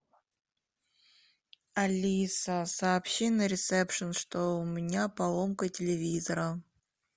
алиса сообщи на ресепшен что у меня поломка телевизора